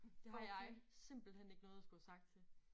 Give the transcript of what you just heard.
Det har jeg simpelthen ikke noget at skulle have sagt til